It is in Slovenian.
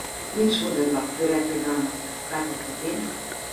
Nič hudega, bi rekli danes, kaj pa potem?